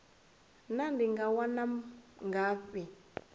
naa ndi nga wana ngafhi